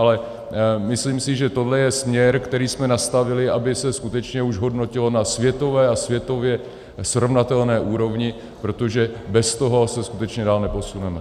Ale myslím si, že tohle je směr, který jsme nastavili, aby se skutečně už hodnotilo na světové a světově srovnatelné úrovni, protože bez toho se skutečně dál neposuneme.